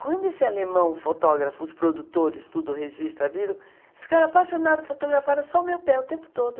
Quando esse alemão, fotógrafos, produtores, tudo registra, viram, ficaram apaixonados, fotografaram só o meu pé o tempo todo.